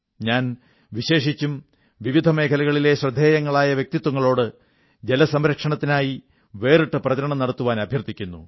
ഞാൻ വിശേഷിച്ചും വിവിധ മേഖലകളിലെ ശ്രദ്ധേയങ്ങളായ വ്യക്തിത്വങ്ങളോട് ജലസംരക്ഷണത്തിനായി വേറിട്ട പ്രചരണം നടത്താൻ അഭ്യർഥിക്കുന്നു